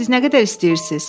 Siz nə qədər istəyirsiniz?